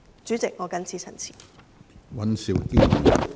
主席，我謹此陳辭。